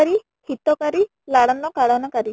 ମ ମତେ କରି ଶୀତ କରି ଲାଳନ ପାଳନ କରି